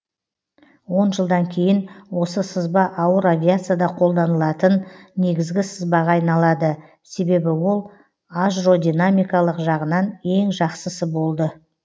он жылдан кейін осы сызба ауыр авиацияда қолданылатын негізгі сызбаға айналады себебі ол ажродинамикалық жағынан ең жақсысы болды